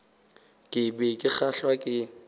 ke be ke kgahlwa ke